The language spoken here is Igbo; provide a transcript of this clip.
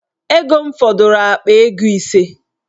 Ego m fọdụrụ akpa ego ise.